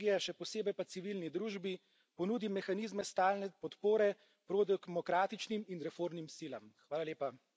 Zato je zadnji čas, da Evropska unija državam regije, še posebej pa civilni družbi ponudi mehanizme stalne podpore pro demokratičnim in reformnim silam.